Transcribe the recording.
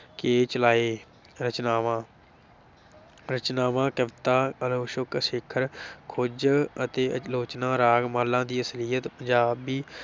ਕੇ ਚਲਾਏ, ਰਚਨਾਵਾਂ ਰਚਨਾਵਾਂ ਕਵਿਤਾ ਅਛੋਕ ਸਿਖਰ ਖੋਜ ਅਤੇ ਆਲੋਚਨਾ, ਰਾਗ ਮਾਲਾ ਦੀ ਅਸਲੀਅਤ, ਪੰਜਾਬੀ